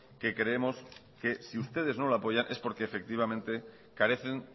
que creemos que si ustedes no lo apoyan es porque efectivamente carecen